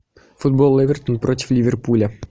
футбол эвертон против ливерпуля